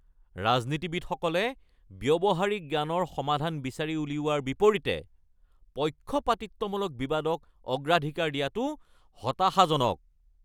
ৰাজনীতিবিদসকলে ব্যৱহাৰিক জ্ঞানৰ সমাধান বিচাৰি উলিওৱাৰ বিপৰীতে পক্ষপাতিত্বমূলক বিবাদক অগ্ৰাধিকাৰ দিয়াটো হতাশাজনক।